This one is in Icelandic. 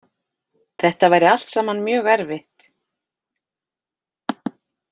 Þetta væri allt saman mjög erfitt